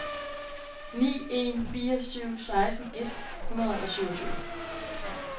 ni en fire syv seksten et hundrede og syvogtyve